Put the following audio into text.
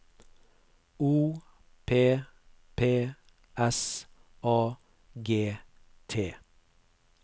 O P P S A G T